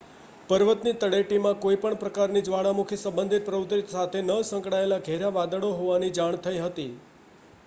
પર્વતની તળેટીમાં કોઈ પણ પ્રકારની જ્વાળામુખી સંબંધિત પ્રવૃત્તિ સાથે ન સંકળાયેલાં ઘેરાં વાદળો હોવાની જાણ થઈ હતી